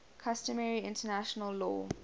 customary international law